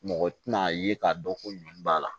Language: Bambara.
Mɔgɔ tɛna ye k'a dɔn ko ɲɔn b'a la